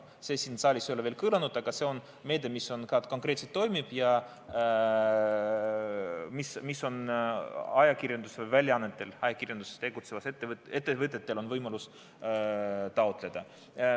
See ei ole siin saalis veel kõlanud, aga see on meede, mis ka konkreetselt toimib ja mida on ajakirjandusväljaannetel, ajakirjanduses tegutsevatel ettevõtetel võimalus taotleda.